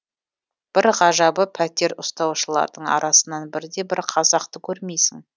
бір ғажабы пәтер ұстаушылардың арасынан бірде бір қазақты көрмейсің